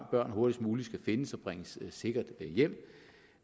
børn hurtigst muligt skal findes og bringes sikkert hjem